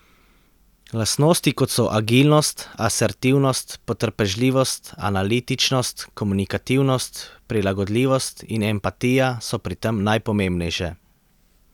Lastnosti kot so agilnost, asertivnost, potrpežljivost, analitičnost, komunikativnost, prilagodljivosti in empatija so pri tem najpomembnejše.